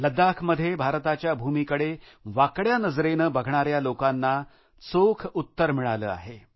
लद्दाख इथं भारताच्या भूमीकडेवाकड्या नजरेने बघणाऱ्या लोकांना चोख उत्तर मिळाले आहे